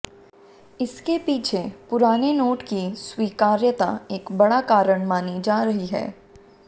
इसके पीछे पुराने नोट की स्वीकार्यता एक बड़ा कारण मानी जा रही है